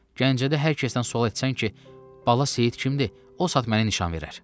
Gəncədə hər kəsdən sual etsən ki, Bala Seyid kimdir, o saat məni nişan verər.